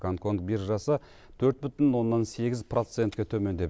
гонконг биржасы төрт бүтін оннан сегіз процентке төмендеп